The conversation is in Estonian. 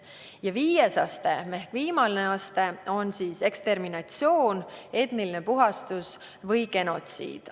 Ja viies ehk viimane aste on eksterminatsioon, etniline puhastus või genotsiid.